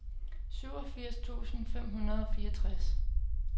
syvogfirs tusind fem hundrede og fireogtres